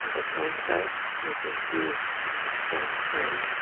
In the front side we can see a some sand.